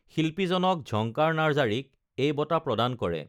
শিল্পী জনক ঝংকাৰ নাৰ্জাৰীক এই বঁটা প্ৰদান কৰে